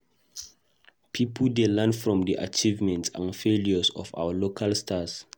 Pipo dey learn from di achievements and failures of our local stars.